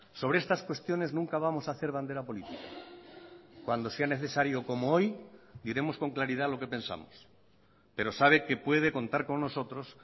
sobre estas cuestiones nunca vamos a hacer bandera política cuando sea necesario como hoy diremos con claridad lo que pensamos pero sabe que puede contar con nosotros